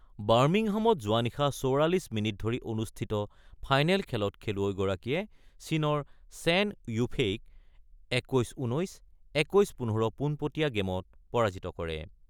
বাৰ্মিহামত যোৱা নিশা ৪৪ মিনিট ধৰি অনুষ্ঠিত ফাইনেত খেলত খেলুৱৈগৰাকীয়ে চীনৰ ছেন য়ুফেইক ২১-১৯, ২১-১৫ পোনপটীয়া গেমত পৰাজিত কৰে।